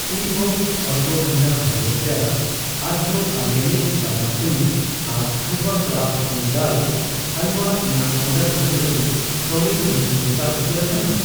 Teabox ashwagandha ᱦᱟᱹᱲᱭᱟᱹᱨ ᱪᱟ, ᱟᱨᱡᱚ ᱚᱨᱜᱮᱱᱤᱠ ᱵᱟᱫᱟᱢ ᱥᱩᱱᱩᱢ, ᱟᱨ ᱦᱟᱞᱣᱟ ᱠᱨᱟᱯᱷᱴ ᱢᱩᱜ ᱰᱟᱞ ᱦᱟᱞᱣᱟ ᱤᱧᱟᱜ ᱚᱰᱟᱨ ᱫᱚᱦᱚ ᱞᱟᱹᱜᱤᱫ ᱠᱟᱹᱣᱰᱤ ᱮᱢ ᱠᱤ ᱜᱚᱴᱟ ᱩᱛᱟᱹᱨ ᱟᱠᱟᱱᱟ ?